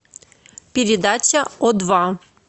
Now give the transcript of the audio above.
передача о два